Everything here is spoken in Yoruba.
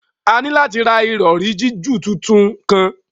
A ni lati ra irọri jiju titun kan